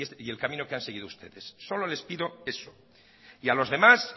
y el camino que han seguido ustedes solo les pido eso y a los demás